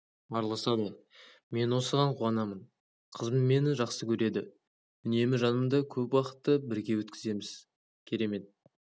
араласады мен осыған қуанамын қызым мені жақсы көреді үнемі жанымда көп уақытты бірге өткіземіз керемет